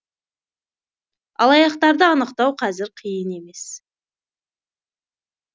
алаяқтарды анықтау қазір қиын емес